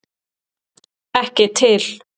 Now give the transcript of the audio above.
Ekki til!